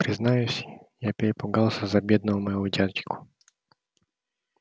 признаюсь я перепугался за бедного моего дядьку